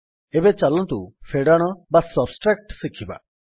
ଏବେ ଚାଲନ୍ତୁ ଫେଡାଣ ବା ସବଷ୍ଟ୍ରାକ୍ଟ ଶିଖିବା